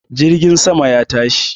Jirgin sama ya tashi